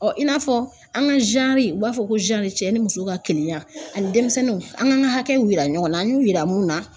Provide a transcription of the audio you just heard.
Ɔ i n'a fɔ an ga zanri u b'a fɔ ko zanri cɛ ni muso ka keleyan ani denmisɛnninw an ka an ka hakɛw yira ɲɔgɔn na an y'u yira mun na